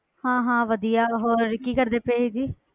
ਹਾਂ ਹਾਂ ਵਧੀਆ ਹੋਰ ਕੀ ਕਰਦੇ ਪਏ ਜੀ।